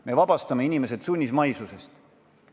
Me vabastame inimesed sunnismaisusest.